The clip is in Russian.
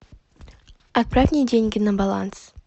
отправь мне деньги на баланс